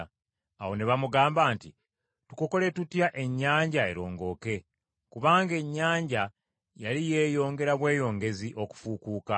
Awo ne bamugamba nti, “Tukukole tutya ennyanja erongooke?” Kubanga ennyanja yali yeeyongera bweyongezi okufuukuuka.